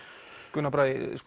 Gunnar Bragi